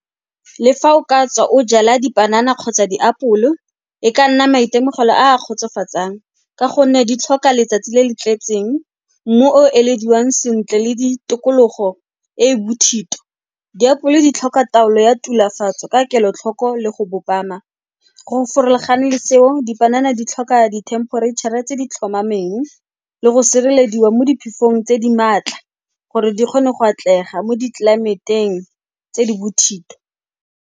Le fa o ka tswa o jala dipanana kgotsa diapole, e ka nna maitemogelo a a kgotsofatsang ka gonne di tlhoka letsatsi le le tletseng, mmu o elediwang sentle le tikologo e e bothito. Diapole di tlhoka taolo ya tulafatso ka kelotlhoko le go . Go farologana le seo, dipanana di tlhoka di-temperature-a tse di tlhomameng le go sirelediwa mo diphefong tse di maatla gore di kgone go atlega mo ditlelaemeteng tse di bothitho.